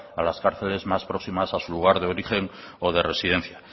a las cárceles más próximas a su lugar de origen o de residencia